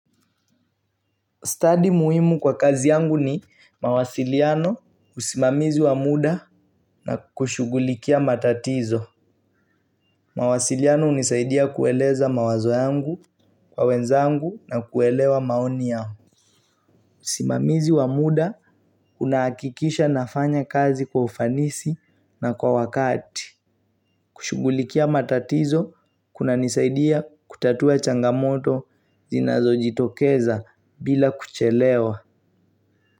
Study muhimu kwa kazi yangu ni mawasiliano usimamizi wa muda na kushughulikia matatizo. Mawasiliano hunisaidia kueleza mawazo yangu kwa wenzangu na kuelewa maoni yangu. Usimamizi wa muda unahakikisha nafanya kazi kwa ufanisi na kwa wakati. Kushughulikia matatizo kunanisaidia kutatua changamoto zinazojitokeza bila kuchelewa.